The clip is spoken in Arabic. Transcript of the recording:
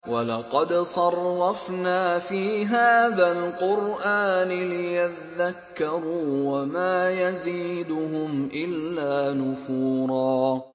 وَلَقَدْ صَرَّفْنَا فِي هَٰذَا الْقُرْآنِ لِيَذَّكَّرُوا وَمَا يَزِيدُهُمْ إِلَّا نُفُورًا